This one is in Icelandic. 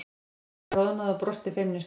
Elísa roðnaði og brosti feimnislega.